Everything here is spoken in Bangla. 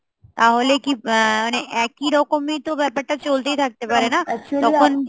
তাহলে কি আ~ মানে একই রকমই তো ব্যাপারটা চলতেই থাকতে পারে না? তখন